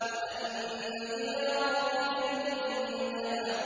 وَأَنَّ إِلَىٰ رَبِّكَ الْمُنتَهَىٰ